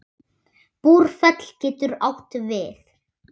Búrfell getur átt við